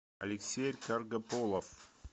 алексей каргополов